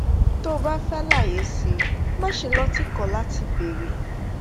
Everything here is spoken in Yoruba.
tó o bá fẹ́ àlàyé sí i máṣe lọ́ tìkọ̀ láti bèèrè